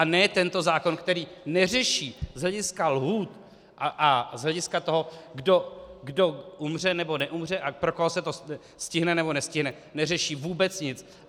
A ne tento zákon, který neřeší z hlediska lhůt a z hlediska toho, kdo umře, nebo neumře a pro koho se to stihne, nebo nestihne, neřeší vůbec nic.